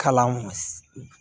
Kalan